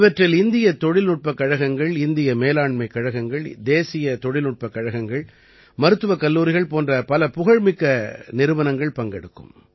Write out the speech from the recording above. இவற்றில் இந்தியத் தொழில்நுட்பக் கழகங்கள் இந்திய மேலாண்மைக் கழகங்கள் தேசிய தொழில்நுட்பக் கழகங்கள் மருத்துவக் கல்லூரிகள் போன்ற பல புகழ்மிக்க நிறுவனங்கள் பங்கெடுக்கும்